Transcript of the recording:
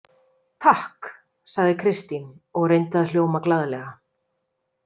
Takk, sagði Kristín og reyndi að hljóma glaðlega.